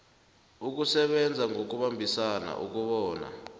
ukusebenza ngokubambisana ukobana